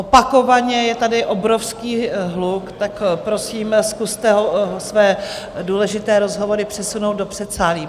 Opakovaně je tady obrovský hluk, tak prosím, zkuste své důležité rozhovory přesunout do předsálí.